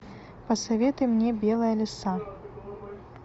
посоветуй мне белая лиса